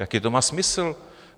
Jaký to má smysl?